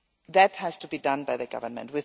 That has to be done by the government.